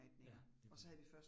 Ja, lige præcis